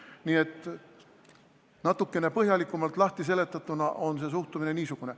Nii et natukene põhjalikumalt lahtiseletatuna on suhtumine niisugune.